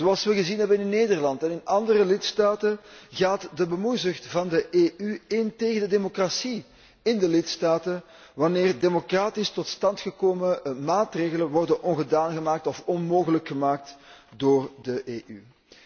Zoals we gezien hebben in Nederland en in andere lidstaten gaat de bemoeizucht van de EU in tegen de democratie in de lidstaten, wanneer democratisch tot stand gekomen maatregelen ongedaan worden gemaakt of onmogelijk gemaakt door de EU.